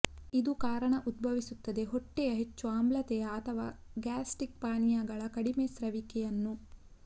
ಇದು ಕಾರಣ ಉದ್ಭವಿಸುತ್ತದೆ ಹೊಟ್ಟೆಯ ಹೆಚ್ಚು ಆಮ್ಲತೆಯ ಅಥವಾ ಗ್ಯಾಸ್ಟ್ರಿಕ್ ಪಾನೀಯಗಳ ಕಡಿಮೆ ಸ್ರವಿಸುವಿಕೆಯನ್ನು